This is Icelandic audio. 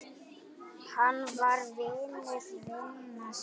Hann var vinur vina sinna.